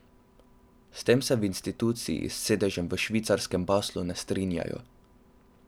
S tem se v instituciji s sedežem v švicarskem Baslu ne strinjajo.